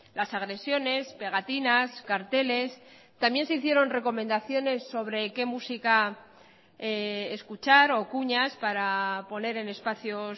las agresiones pegatinas carteles también se hicieron recomendaciones sobre qué música escuchar o cuñas para poner en espacios